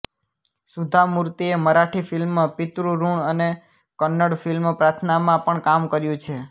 સુધા મૂર્તિએ મરાઠી ફિલ્મ પિતૃઋણ અને કન્નડ ફિલ્મ પ્રાર્થનામાં પણ કામ કર્યું છે